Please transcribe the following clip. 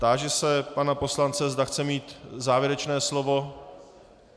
Táži se pana poslance, zda chce mít závěrečné slovo.